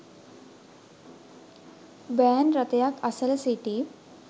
van රථයක් අසල සිටි